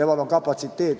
Temal on "kapatsiteet".